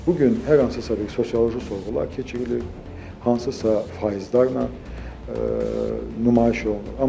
Bu gün hər hansısa bir sosioloji sorğular keçirilir, hansısa faizlərlə nümayiş olunur.